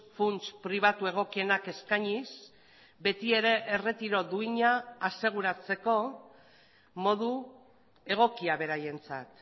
funts pribatu egokienak eskainiz beti ere erretiro duina aseguratzeko modu egokia beraientzat